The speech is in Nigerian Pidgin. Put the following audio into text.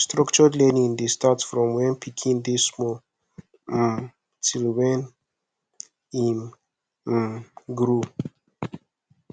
structured learning de start from when pikin de small um till when im um grow